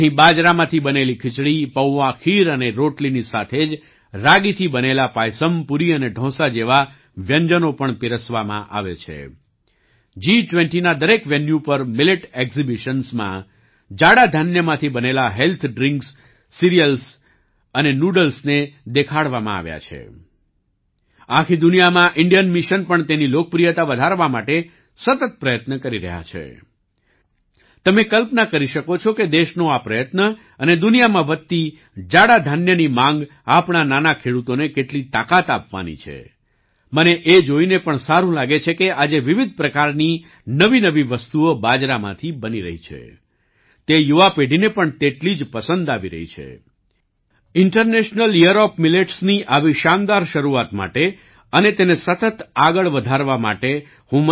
અહીં બાજરામાંથી બનેલી ખીચડી પૌઆ ખીર અને રોટલીની સાથે જ રાગીથી બનેલા પાયસમ